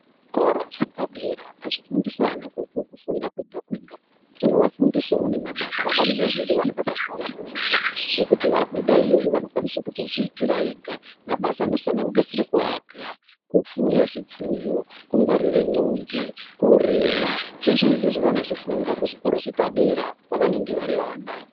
Zvikora zvepadera azvifundisi vana kufunda kwega kwega. Zvinovafundisawo nemabasa. Variyo iyoyo vane mabasa avanoita ekuti vabuda iyoyo vanokwanise kutozviitira ega mabasa anosanganisira kuaka, kufuya zvifuyo kungwarire mombe, kurima zveshe izvozvo vanozvifunda pazvikoro zvepadera pavanenge vari vana.